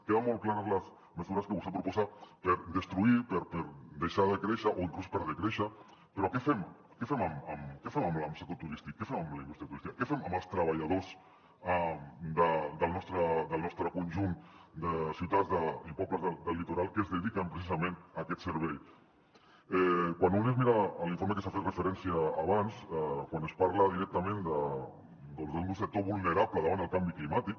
queden molt clares les mesures que vostè proposa per destruir per deixar de créixer o inclús per decréixer però què fem amb el sector turístic què fem amb la indústria turística què fem amb els treballadors del nostre conjunt de ciutats i pobles del litoral que es dediquen precisament a aquest servei quan un es mira l’informe a que s’ha fet referència abans quan es parla directament doncs d’un sector vulnerable davant el canvi climàtic